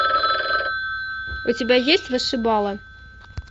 у тебя есть вышибала